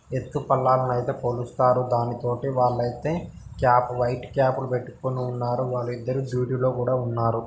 ఎత్తు పల్లాలు ను ఐతే కొలుస్తారు దానితోటి వాళ్ళు ఐతే క్యాప్ వైట్ క్యాప్ లు పెట్టుకొని ఉన్నారు వాళ్ళు ఇద్దరు డ్యూటీలో కూడా ఉన్నారు.